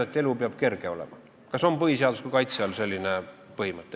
Kas selline põhimõte on põhiseadusliku kaitse all?